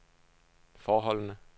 forholdene